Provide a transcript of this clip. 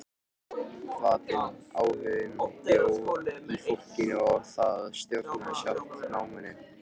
Hvatinn, áhuginn bjó í fólkinu og það stjórnaði sjálft náminu.